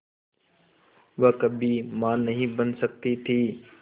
वह कभी मां नहीं बन सकती थी